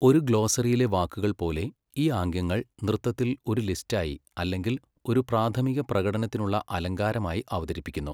ഒരു ഗ്ലോസറിയിലെ വാക്കുകൾ പോലെ, ഈ ആംഗ്യങ്ങൾ നൃത്തത്തിൽ ഒരു ലിസ്റ്റായി അല്ലെങ്കിൽ ഒരു പ്രാഥമിക പ്രകടനത്തിനുള്ള അലങ്കാരമായി അവതരിപ്പിക്കുന്നു.